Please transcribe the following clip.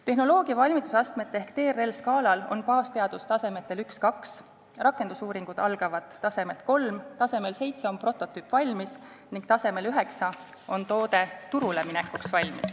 Tehnoloogia valmidusastmete ehk TRL-skaalal on baasteadus tasemetel 1 ja 2, rakendusuuringud algavad tasemelt 3, tasemel 7 on prototüüp valmis ning tasemel 9 on toode valmis turule minekuks.